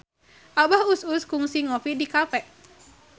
Abah Us Us kungsi ngopi di cafe